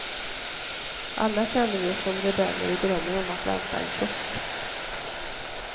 Alla känner vi oss som rebeller och drömmer om att välta en kiosk.